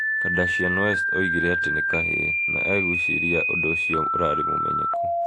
Kardashian West oigire atĩ nĩ kahĩĩ. Na agwĩciria ũndũ ũcio ũrarĩ mũmenyeku.